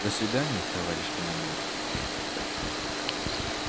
до свидания товарищ командир